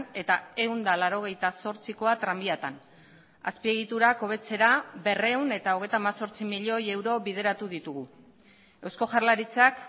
eta ehun eta laurogeita zortzikoa tranbiatan azpiegiturak hobetzera berrehun eta hogeita hemezortzi milioi euro bideratu ditugu eusko jaurlaritzak